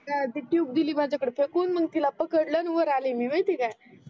हा ते ट्यूब देली माझ्या कडे फेकून मग तिला पकडल वर आली मी माहीत आहे का